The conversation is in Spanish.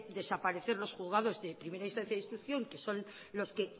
desaparecer los juzgados de primera instancias e instrucción que son los que en